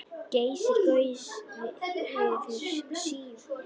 Geysir gaus fyrir Svíana.